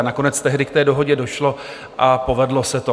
A nakonec tehdy k té dohodě došlo a povedlo se to.